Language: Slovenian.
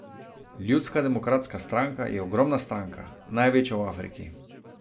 Ljudska demokratska stranka je ogromna stranka, največja v Afriki.